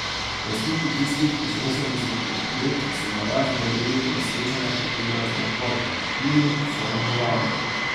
Lastniki tistih iz osemdesetih let se na razne relije in srečanja pripeljejo z lahkoto, v klimi, s servo volanom.